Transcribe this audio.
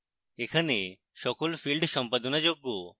এখানে সকল fields সম্পাদনাযোগ্য